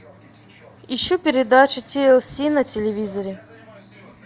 ищу передачу тлс на телевизоре